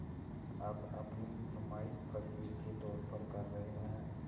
अब अपनी नुमाइश फ़क़ीर के तौर पर कर रहे हैं